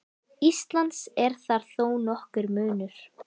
Íslands er þar þó nokkur munur.